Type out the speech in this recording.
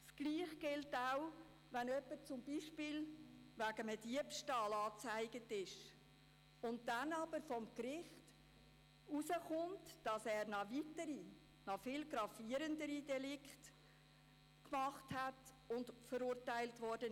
Dasselbe gilt auch, wenn bei einer Person, die wegen Diebstahls angezeigt ist, vor Gericht auskommt, dass sie weitere, viel gravierendere Delikte begangen hat und dafür verurteilt wurde.